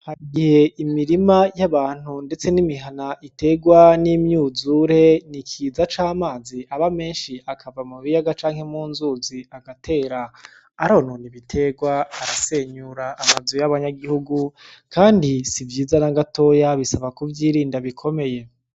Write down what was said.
Harigihe imirima y'abantu ndetse n'imihana y'abantu iterwa n'umyuzure, n'ikiza c'amazi aba menshi akava mukiyaga canke munzuzi agatera, aronon'ibiterwa arasenyur'amazu y'abanyagihugu kandi sivyiza nagatoyi bisaba kuvyirinda bikomeye.